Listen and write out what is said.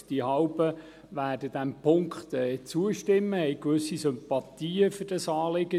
Die Hälfte wird diesem Punkt zustimmen und hat gewisse Sympathien für das Anliegen.